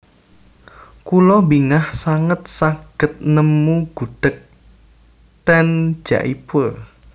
Kulo bingah sanget saged nemu gudheg ten Jaipur